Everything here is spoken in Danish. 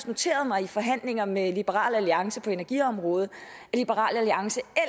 noteret mig i forhandlinger med liberal alliance på energiområdet at liberal alliance